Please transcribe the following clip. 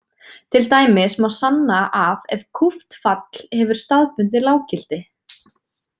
Til dæmis má sanna að ef kúpt fall hefur staðbundið lággildi.